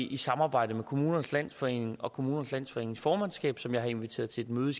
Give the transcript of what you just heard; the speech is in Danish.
i samarbejde med kommunernes landsforening og kommunernes landsforenings formandskab som jeg har inviteret til et møde